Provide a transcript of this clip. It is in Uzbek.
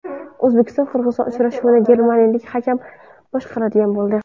O‘zbekiston Qirg‘iziston uchrashuvini germaniyalik hakam boshqaradigan bo‘ldi.